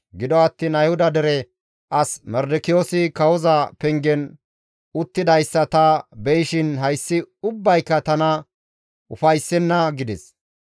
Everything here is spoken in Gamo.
Gido attiin Ayhuda dere as Mardikiyoosi kawoza pengen uttidayssa ta be7ishin hayssi ubbayka tana ufayssenna» gides.